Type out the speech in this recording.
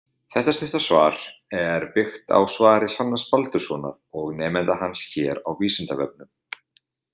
Þetta stutta svar er byggt á svari Hrannars Baldurssonar og nemenda hans hér á Vísindavefnum.